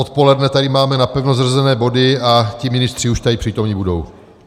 Odpoledne tady máme napevno zařazené body a ti ministři už tady přítomni budou.